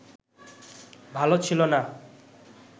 ভাল ছিল না